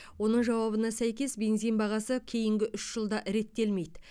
оның жауабына сәйкес бензин бағасы кейінгі үш жылда реттелмейді